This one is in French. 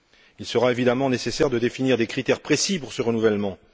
Il sera évidemment nécessaire de définir des critères précis pour ce renouvellement.